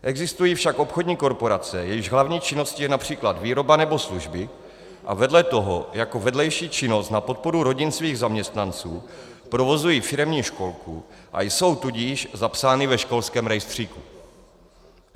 Existují však obchodní korporace, jejichž hlavní činností je například výroba nebo služby a vedle toho jako vedlejší činnost na podporu rodin svých zaměstnanců provozují firemní školku, a jsou tudíž zapsány ve školském rejstříku.